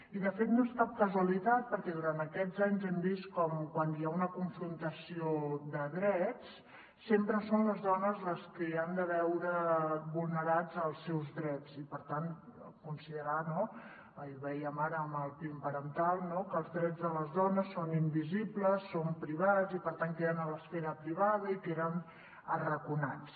i de fet no és cap casualitat perquè durant aquests anys hem vist com quan hi ha una confrontació de drets sempre són les dones les que han de veure vulne·rats els seus drets i per tant considerar no i ho vèiem ara amb el pin parental que els drets de les dones són invisibles són privats i per tant queden a l’esfera pri·vada i queden arraconats